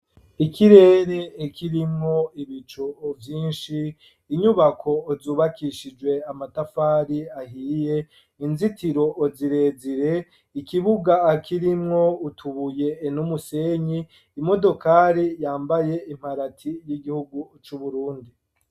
Ikirere kirimwo ibico vyinshi ,inyubako zubakishijwe amatafari ahiye, inzitiro zirezire ,ikibuga kirimwo utubuye nu musenyi ,imodokari yambaye imparati y'igihugu c’uburundi .